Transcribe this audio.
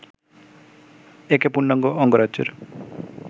একে পূর্ণাঙ্গ অঙ্গরাজ্যের